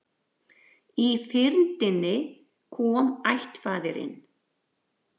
Í fyrndinni kom ættfaðirinn